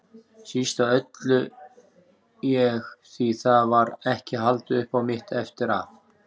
Síst af öllu ég, því það var ekki haldið upp á mitt eftir að